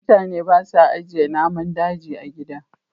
mutane ba sa ajiye namun daji a gida